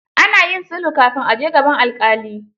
Ana yin sulhu kafin a je gaban alƙali.